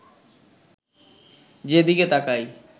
যেদিকে তাকাই